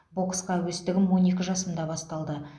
боксқа әуестігім он екі жасымда басталды